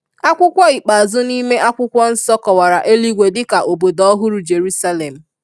Akwụkwọ ikpeazụ nime akwụkwọ nsọ kọwara eluigwe dika “Obodo ohuru Jeruselem”.